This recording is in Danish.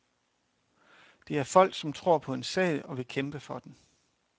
Det er folk, som tror på en sag og vil kæmpe for den.